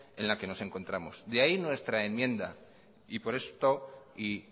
en la que nos encontramos de ahí nuestra enmienda y por esto y